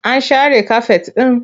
An share kafet ɗin?